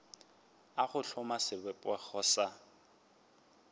a go hloma sebopego sa